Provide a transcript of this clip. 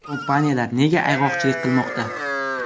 Kompaniyalar nega ayg‘oqchilik qilmoqda?